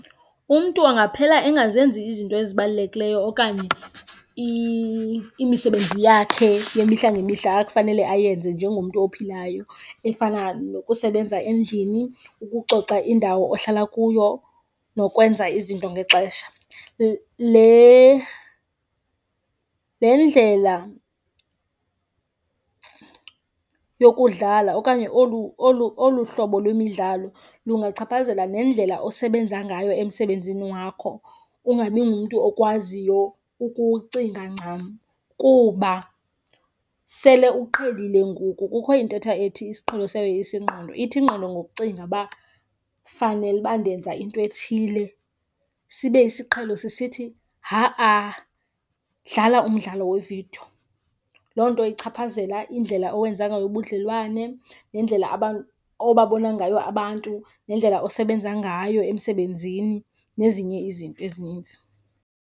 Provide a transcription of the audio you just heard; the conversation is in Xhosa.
Umntu angaphela engazenzi izinto ezibalulekileyo okanye imisebenzi yakhe yemihla ngemihla ekufanele ayenze njengomntu ophilayo efana nokusebenza endlini, ukucoca indawo ohlala kuyo nokwenza izinto ngexesha. Le ndlela yokudlala okanye olu hlobo lwemidlalo lungachaphazela nendlela osebenza ngayo emsebenzini wakho, ungabi ngumntu okwaziyo ukucinga ncam kuba sele uqhelile ngoku. Kukho intetha ethi isiqhelo siyayoyisa ingqondo, ithi ingqondo ngokucinga uba fanele uba ndenza into ethile sibe isiqhelo sisithi ha-a, dlala umdlalo wevidiyo. Loo nto ichaphazela indlela owenza ngayo ubudlelwane nendlela obabona ngayo abantu nendlela osebenza ngayo emsebenzini nezinye izinto ezininzi.